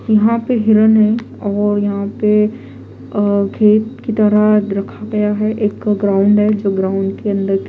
यहां पे हिरण है और यहां पे अ खेत की तरह रखा गया है एक ग्राउंड है जो ग्राउंड के अंदर के --